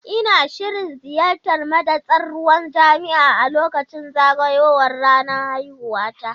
Ina shirin ziyartar madatsar ruwan jami'a a lokacin zagayowar ranar haihuwata.